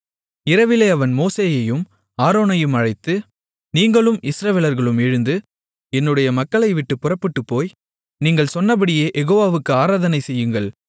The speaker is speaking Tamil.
இரவிலே அவன் மோசேயையும் ஆரோனையும் அழைத்து நீங்களும் இஸ்ரவேலர்களும் எழுந்து என்னுடைய மக்களைவிட்டுப் புறப்பட்டுப் போய் நீங்கள் சொன்னபடியே யெகோவாவுக்கு ஆராதனை செய்யுங்கள்